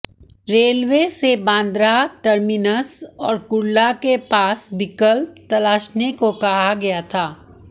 railway से Bandra terminus और कुर्ला के पास विकल्प तलाशने को कहा गया था